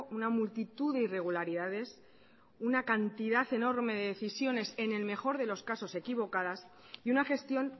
una multitud de irregularidades una cantidad enorme de decisiones en el mejor de los casos equivocadas y una gestión